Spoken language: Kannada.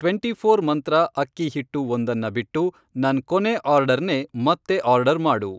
ಟ್ವೆಂಟಿಫ಼ೋರ್ ಮಂತ್ರ ಅಕ್ಕಿ ಹಿಟ್ಟು ಒಂದನ್ನ ಬಿಟ್ಟು ನನ್ ಕೊನೇ ಆರ್ಡರ್ನೇ ಮತ್ತೆ ಆರ್ಡರ್ ಮಾಡು.